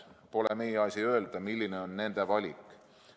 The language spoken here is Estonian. Pole meie asi öelda, milline on nende valik.